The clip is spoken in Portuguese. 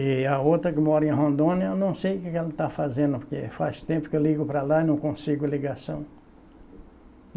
E a outra que mora em Rondônia, eu não sei o que que ela tá fazendo, porque faz tempo que eu ligo para lá e não consigo ligação.